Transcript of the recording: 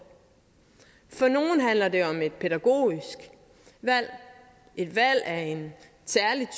for nogle handler det om et pædagogisk valg et valg af en særlig